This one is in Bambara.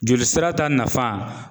Joli sira ta nafa